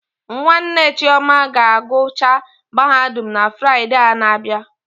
Nwanne Chioma ga agụcha Mahadum na Fride a na abịa